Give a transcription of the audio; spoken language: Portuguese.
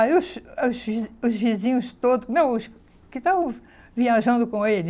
Aí os os vi os vizinhos todos, não os que estavam viajando com ele.